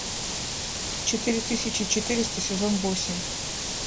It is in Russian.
четыре тысячи четыреста сезон восемь